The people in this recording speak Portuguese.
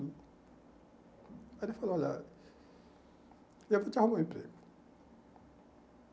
Aí ele falou, olha, eu vou te arrumar um emprego.